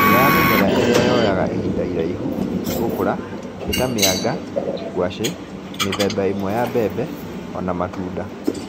ĩmwe ya mĩmera ĩrĩa yoyaga ihinda iraihu, gũkũra nĩ ta mĩanga, ngwacĩ, mĩthemba ĩmwe ya mbembe, o na matunda.